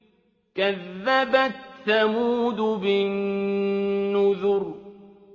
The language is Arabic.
كَذَّبَتْ ثَمُودُ بِالنُّذُرِ